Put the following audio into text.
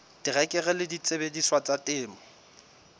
terekere le disebediswa tsa temo